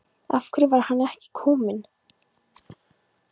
Af hverju var hann ekki kominn?